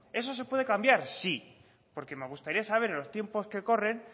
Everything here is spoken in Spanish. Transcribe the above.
eso se puede cambiar sí porque me gustaría saber en los tiempos que corren